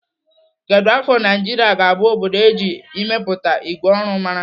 Kedụ afọ Naijiria ga-abụ obodo eji ịmepụta ìgwè ọrụ mara?